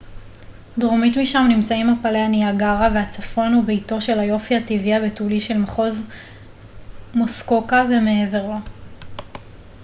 דרומית משם נמצאים מפלי הניאגרה והצפון הוא ביתו של היופי הטבעי הבתולי של מחוז מוסקוקה ומעבר לו